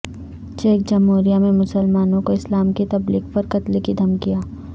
check جمہوریہ میں مسلمانوں کو اسلام کی تبلیغ پر قتل کی دھمکیاں